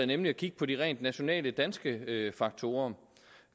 nemlig at kigge på de rent nationale danske faktorer